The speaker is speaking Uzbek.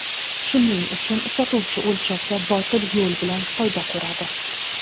Shuning uchun sotuvchi o‘lchovda botil yo‘l bilan foyda ko‘radi.